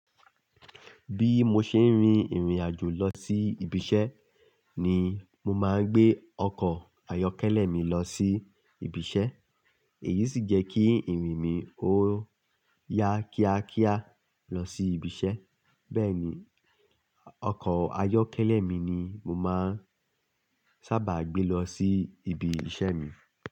Bí mo ṣe ń rin ìrìn àjò lọ sí ibi iṣẹ́ ni mo máa ń gbé ọkọ̀ ayọ́kẹ́lẹ́ mi lọ sí ibi iṣẹ́. Èyí sì jẹ́ kí ìrìn mi ó ya kíákíá lọ sí ibi iṣẹ́. Bẹ́ẹ̀ ni, ọkọ̀ ayọ́kẹ́lẹ́ mi ni mo máa ń sábà gbé lọ sí ibi iṣẹ́ mi.